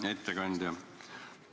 Hea ettekandja!